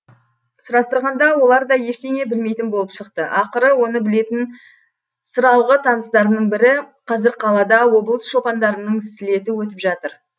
сұрастырғанда олар да ештеңе білмейтін болып шықты ақыры оны білетін сыралғы таныстарының бірі қазір қалада облыс шопандарының слеті өтіп жатыр